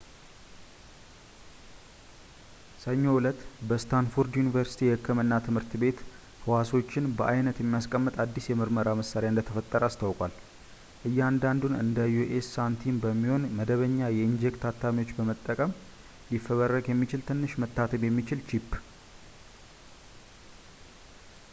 ሰኞ እለት፣ በስታንፎርድ ዩኒቨርሲቲ የህክምና ትምህርት ቤት ህዋሶችን በአይነት የሚያስቀምጥ አዲስ የምርመራ መሳሪያ እንደተፈጠረ አስታውቋል፡ እያንዳንዱን በአንደ የዩ.ኤስ ሳንቲም የሚሆን መደበኛ የኢንክጄት አታሚዎችን በመጠቀም ሊፈበረክ የሚችል ትንሽ መታተም የሚችል ቺፕ